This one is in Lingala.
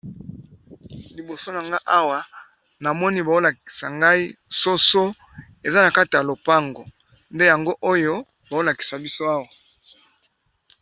Liboso na nga awa na moni baolakisa ngai soso eza na kata ya lopango, nde yango oyo baolakisa biso awa.